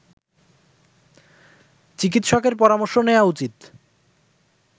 চিকিৎসকের পরামর্শ নেয়া উচিৎ